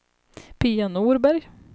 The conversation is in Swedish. Pia Norberg